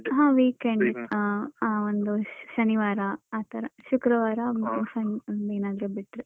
ಹ weekend ಹ ಹ ಒಂದು ಶನಿವಾರ ಆ ತರ ಶುಕ್ರವಾರ ಸಂಜೆ ಅಮ್ಮ ಏನಾದ್ರುಬಿಟ್ರೆ.